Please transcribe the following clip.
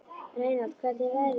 Reynald, hvernig er veðrið úti?